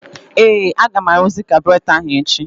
Ee! Aga m arụzị kabụratọ ahụ echi.